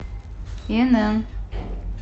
инн